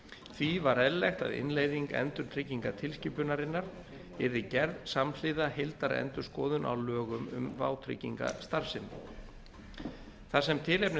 því var eðlilegt að innleiðing endurtryggingatilskipunarinnar yrði gerð samhliða heildarendurskoðun á lögum um vátryggingastarfsemi þar sem tilefni